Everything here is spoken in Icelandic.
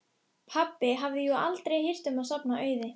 Ertu viss um að þetta hafi verið hún?